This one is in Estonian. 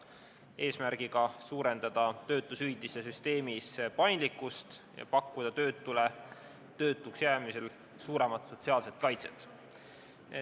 Eesmärk on suurendada töötuse üldises süsteemis paindlikkust ja pakkuda töötule töötuks jäämisel suuremat sotsiaalset kaitset.